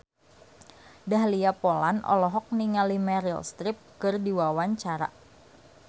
Dahlia Poland olohok ningali Meryl Streep keur diwawancara